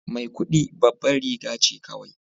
Maikudi babbar riga ce kawai